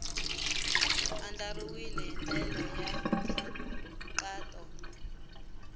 andlariwile hi ndlela ya nkhaqato